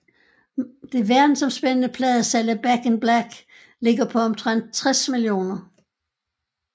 Det verdensomspændende pladesalg af Back in Black ligger på omtrent 60 millioner